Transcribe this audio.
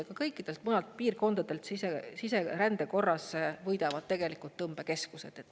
Ehk kõikidest muudest piirkondadest siserände korras võidavad tegelikult tõmbekeskused.